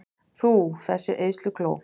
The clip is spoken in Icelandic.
Þú, þessi eyðslukló!